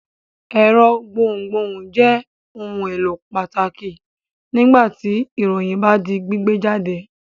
Ẹ̀rọ gbohùngbohùn jẹ́ ohun-èlò pàtàkì nígbà ìròyìn bá ń di gbígbé jáde.